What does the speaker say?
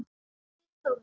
Þinn Þórður.